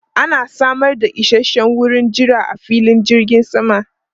Ana samar da isasshen wurin jira a filin jirgin sama.